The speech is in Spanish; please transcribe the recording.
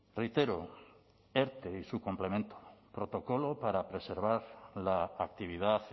reitero erte y su complemento protocolo para preservar la actividad